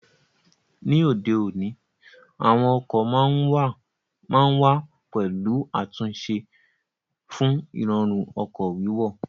Ní òde òní, àwọn ọkọ̀ ma ń wà pẹ̀lú àtúnṣe fún Ìrọ̀rùn ọkọ̀ wíwọ̀